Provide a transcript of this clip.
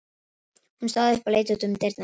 Oktavías, slökktu á niðurteljaranum.